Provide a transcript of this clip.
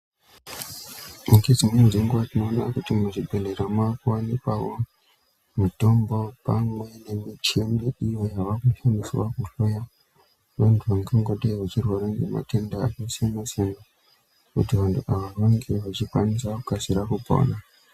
Ngedzimweni dzenguwa tinoona kuti muzvibhedhleya makuwanikwawo mitombo pamwe nemichini iyo yava kushandiswa kuhloya vantu vangangodaro veirwara ngematenda akasiyana-siyana kuti vantu ava vange vachikwanisa kukasira kupona.